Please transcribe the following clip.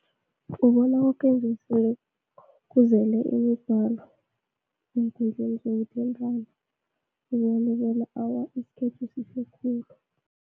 Ubona kuzele imigwalo, eenkundleni zokuthintana, ukubalekela awa isikhethu sihle khulu.